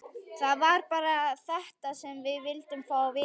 Það var bara þetta sem við vildum fá að vita.